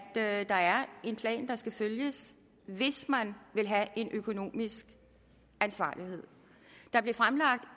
at der er en plan der skal følges hvis man vil have en økonomisk ansvarlighed der blev fremlagt